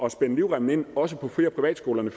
at spænde livremmen ind også på fri og privatskolerne